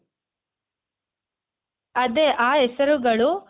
ಅದೇ ಆ ಹೆಸರುಗಳು